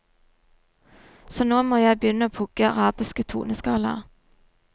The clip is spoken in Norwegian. Så nå må jeg begynne å pugge arabiske toneskalaer.